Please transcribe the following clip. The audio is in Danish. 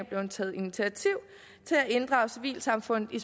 blevet taget initiativ til at inddrage civilsamfundet i